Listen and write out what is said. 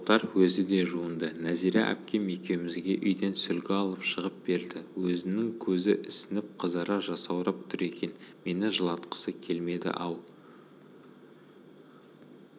тоқтар өзі де жуынды нәзира әпкем екеумізге үйден сүлгі алып шығып берді өзінің көзі ісініп қызара жасаурап тұр екен мені жылатқысы келмеді-ау